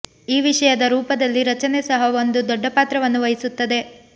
ಈ ವಿಷಯದ ರೂಪದಲ್ಲಿ ರಚನೆ ಸಹ ಒಂದು ದೊಡ್ಡ ಪಾತ್ರವನ್ನು ವಹಿಸುತ್ತದೆ